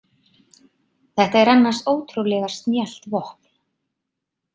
Þetta er annars ótrúlega snjallt vopn.